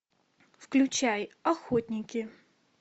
включай охотники